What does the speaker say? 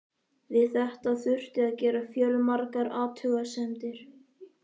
Við þetta þurfti að gera fjölmargar athugasemdir.